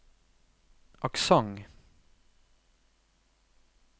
aksent